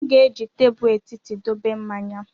M ga-eji tebụl etiti dobe mmanya.